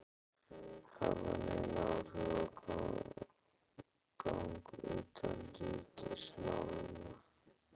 hafa nein áhrif á gang utanríkismálanna.